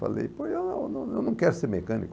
Falei, pois eu não eu não quero ser mecânico.